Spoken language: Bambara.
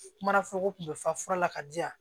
Kuma nafoloko tun be fa fura la ka di yan